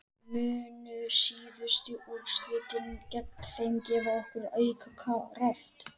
Munu síðustu úrslit gegn þeim gefa okkur auka kraft?